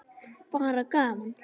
Bara gaman.